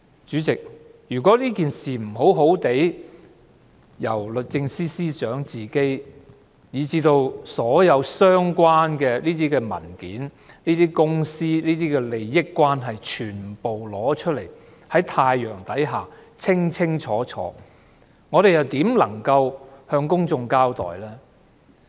主席，如果律政司司長不親自提交所有相關文件，並交代公司的一切利益關係，全部放在太陽之下，我們如何能夠向公眾交代呢？